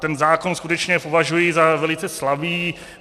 Ten zákon skutečně považuji za velice slabý.